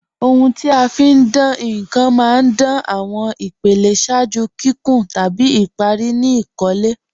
Ọ̀huń ti a fi ń dáǹ nkan má ń dáǹ awọn ìpèlẹ̀ ṣáàjú kíkún tabi ìparí ni ìkólẹ̀.